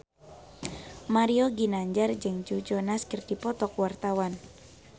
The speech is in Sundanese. Mario Ginanjar jeung Joe Jonas keur dipoto ku wartawan